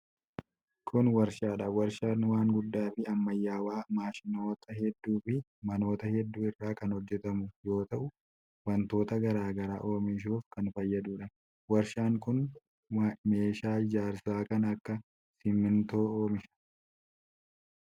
Kun warshaa dha. Warshaan waan guddaa fi ammayyawaa maashinoota hedduu fi manoota hedduu irraa kan hojjatamu yoo ta'u, wantoota garaa garaa oomishuuf kan fayyaduu dha. Warshaan kun meeshaa ijaarsaa kan akka simiintoo oomisha.